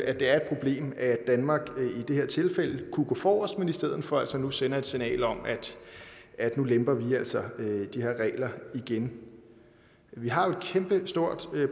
at det er et problem at danmark i det her tilfælde kunne gå forrest men i stedet for altså nu sender et signal om at nu lemper vi altså de her regler igen vi har jo et kæmpestort